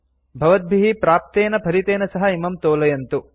भवद्भिः प्राप्तेन फलितेन सह इमं तोलयन्तु